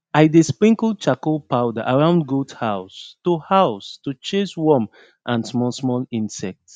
i dey sprinkle charcoal powder around goat house to house to chase worm and smallsmall insect